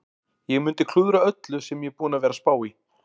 Ég mundi klúðra öllu sem ég er búinn að vera að spá í.